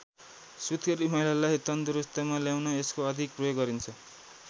सुत्केरी महिलालाई तन्दुरुस्तीमा ल्याउन यसको अधिक प्रयोग गरिन्छ।